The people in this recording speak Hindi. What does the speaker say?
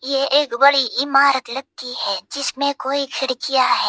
ये एक बड़ी इमारत लगती है जिसमें कोई खिड़कियां है।